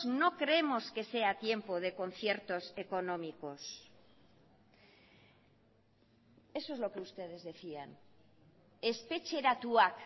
no creemos que sea tiempo de conciertos económicos eso es lo que ustedes decían espetxeratuak